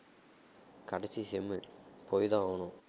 கடைசி sem உ போய் தான் ஆவணும்